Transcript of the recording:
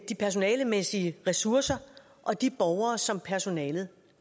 de personalemæssige ressourcer og de borgere som personalet